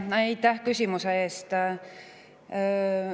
Aitäh küsimuse eest!